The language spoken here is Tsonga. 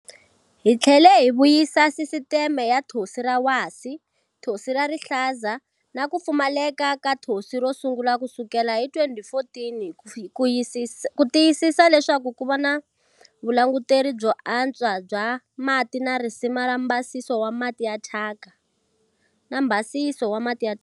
Hi tlhele hi vuyisa sisiteme ya Thonsi ra Wasi, Thonsi ra Rihlaza na ku Pfumaleka ka Thonsi ro sungula kusukela hi 2014 ku tiyisisa leswaku ku va na vulanguteri byo antswa bya mati na risima ra mbhasiso wa mati ya thyaka.